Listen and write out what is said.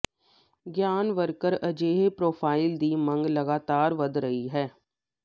ਗਿਆਨ ਵਰਕਰ ਅਜਿਹੇ ਪ੍ਰੋਫ਼ਾਈਲ ਦੀ ਮੰਗ ਲਗਾਤਾਰ ਵਧ ਰਹੀ ਹੈ